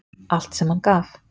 Allt sem hann gaf.